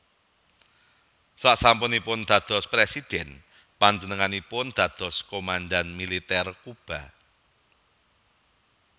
Sasampunipun dados Présidhèn panjenenganipun dados komandhan Militer Kuba